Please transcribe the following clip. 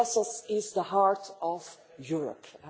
Brussels is the heart of Europe.